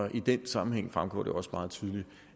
i den sammenhæng fremgår det også meget tydeligt